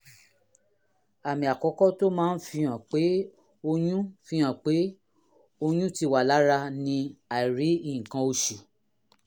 àmì àkọ́kọ́ tó máa ń fihàn pé oyún fihàn pé oyún ti wà lára ni àìrí nǹkan oṣù